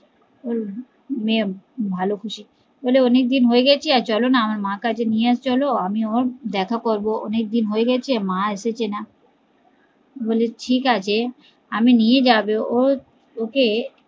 বলে অনেক দিন হয়েগেছে চলো মা এর কাছে নিয়ে চলো, আমি দেখা করবো, অনেক দিন হয়েগেছে মা এসেছে না, বলে ঠিকাছে নিয়ে আমি যাবো ওকে